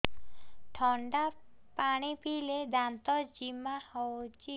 ଥଣ୍ଡା ପାଣି ପିଇଲେ ଦାନ୍ତ ଜିମା ହଉଚି